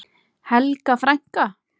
Helga frænka.